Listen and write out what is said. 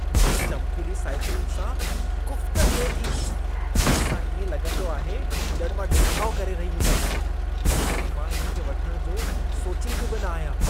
मूंखे चमकीली साइकिलुनि सां कुफ़्त थिए थी। इन सां इएं लॻंदो आहे ॼण मां ॾेखाउ करे रही हुजां। इन करे मां इन खे वठणु जो सोचींदी बि न आहियां।